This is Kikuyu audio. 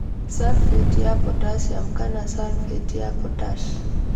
Sulphate ya potassium kana sulphate ya potash